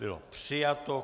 Bylo přijato.